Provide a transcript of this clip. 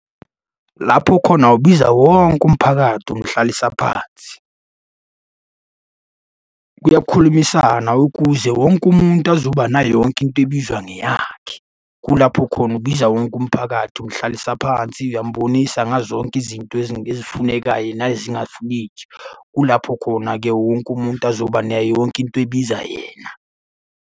Lapho khona ubiza wonke umphakathi, umhlalisa phansi. Kuyakhulumisana ukuze wonke umuntu azoba nayo yonke into ebizwa ngeyakhe. Kulapho khona ubiza wonke umphakathi, umhlalisa phansi uyambonisa ngazo zonke izinto ezifunekayo nezingafuneki. Kulapho khona-ke wonke umuntu azoba nayo yonke into ebiza yena.